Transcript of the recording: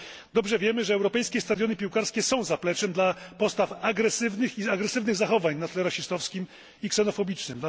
Dobrze wiemy, że europejskie stadiony piłkarskie są zapleczem dla postaw agresywnych i agresywnych zachowań na tle rasistowskim i ksenofobicznym.